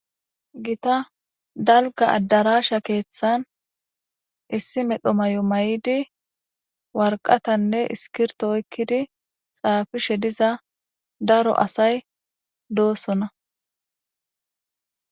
Gita dalga addarasha keeththan issi medho mayo mayidi warqatanne iskirto oykkidi xaafishe diza daro asay doosona.